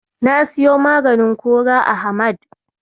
Na siyo maganin kora a Hamad.